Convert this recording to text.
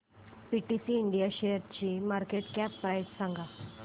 PTC India शेअरची market cap price सांगा